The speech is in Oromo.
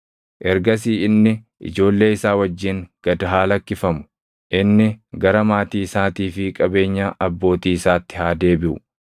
Ergasii inni ijoollee isaa wajjin gad haa lakkifamu; inni gara maatii isaatii fi qabeenya abbootii isaatti haa deebiʼu.